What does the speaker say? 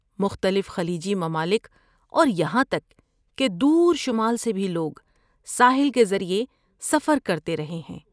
مختلف خلیجی ممالک اور یہاں تک کہ دور شمال سے بھی لوگ ساحل کے ذریعے سفر کرتے رہے ہیں۔